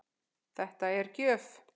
Það er gjöf.